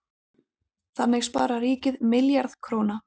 Þannig sparar ríkið milljarð króna.